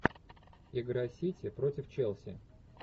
игра сити против челси